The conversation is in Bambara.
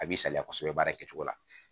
A b'i saliya kosɛbɛ baara kɛcogo la